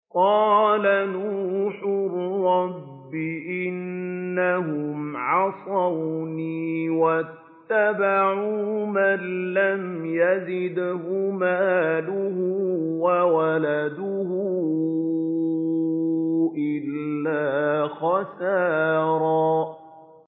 قَالَ نُوحٌ رَّبِّ إِنَّهُمْ عَصَوْنِي وَاتَّبَعُوا مَن لَّمْ يَزِدْهُ مَالُهُ وَوَلَدُهُ إِلَّا خَسَارًا